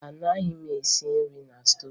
Mba, anaghị m esi nri na stoovu